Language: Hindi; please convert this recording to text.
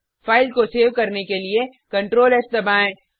फाइल को सेव करने के लिए Ctrl एस दबाएँ